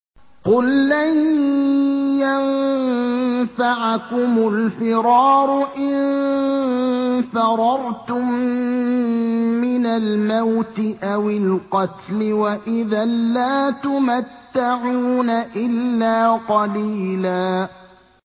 قُل لَّن يَنفَعَكُمُ الْفِرَارُ إِن فَرَرْتُم مِّنَ الْمَوْتِ أَوِ الْقَتْلِ وَإِذًا لَّا تُمَتَّعُونَ إِلَّا قَلِيلًا